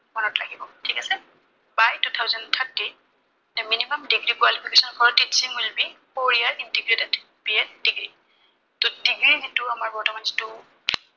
মনত ৰাখিব। ঠিক আছে, by two thousand thirty, the minimum degree qualification will be four year integrated BEd degree ত এনেই এইটো আমাৰ বৰ্তমান যিটো